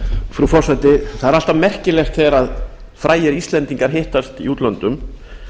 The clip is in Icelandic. frú forseti það er alltaf merkilegt þegar frægir íslendingar hittast í útlöndum